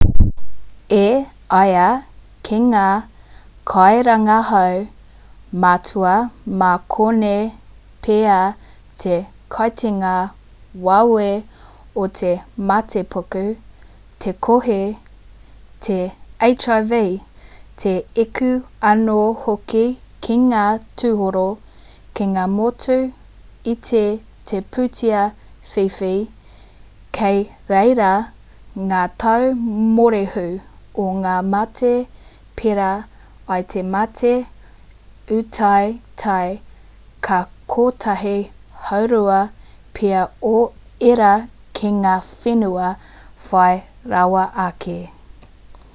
e ai ki ngā kairangahau matua mā konei pea te kitenga wawe o te matepuku te kohi te hiv te eku anō hoki ki ngā tūroro ki ngā motu iti te pūtea whiwhi kei reira ngā tau mōrehu o ngā mate perā i te mate ūtaetae ka kotahi haurua pea o ērā ki ngā whenua whai rawa ake